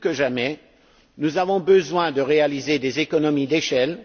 Plus que jamais, nous avons besoin de réaliser des économies d'échelle.